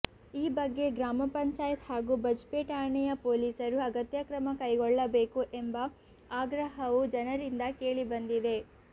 ಈ ಬಗ್ಗೆ ಗ್ರಾಮ ಪಂಚಾಯತ್ ಹಾಗೂ ಬಜ್ಪೆ ಠಾಣೆಯ ಪೊಲೀಸರು ಅಗತ್ಯ ಕ್ರಮ ಕೈಗೊಳ್ಳಬೇಕು ಎಂಬ ಆಗ್ರಹವೂ ಜನರಿಂದ ಕೇಳಿಬಂದಿದೆ